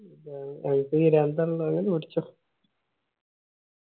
അൻക്ക് പിരാന്താണല്ലോ വേം വേടിച്ചോ